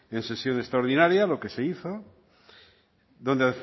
en sesión extraordinaria lo que se hizo dónde